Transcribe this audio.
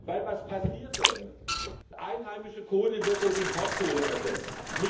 Weil was passiert dann? Einheimische Kohle wird durch Importkohle ersetzt.